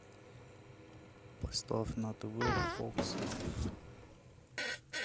поставь на тв фокс лайф